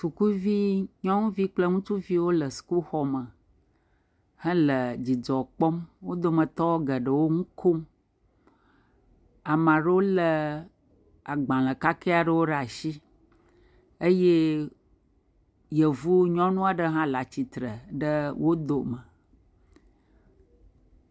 Sukuvi nyɔnuvi kple ŋutsuviwo le sukuxɔme hele dzidzɔ kpɔm le nu kom, ame aɖewo lé agbalẽ kake aɖewo ɖe asi eye yvu nyɔnu aɖe hã le atsitre ɖe wo dome.